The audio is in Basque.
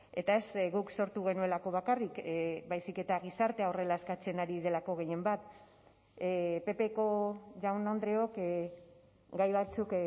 eta ez guk sortu genuelako bakarrik baizik eta gizartea horrela eskatzen ari delako gehienbat ppko jaun andreok gai batzuk